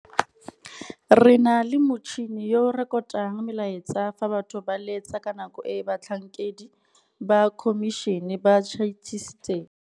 Re na gape le motšhini yo o rekotang melaetsa fa batho ba letsa ka nako e batlhankedi ba khomišene ba tšhaisitseng.